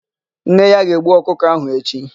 Nne ya ga-egbu ọkụkọ áhụ̀ echi.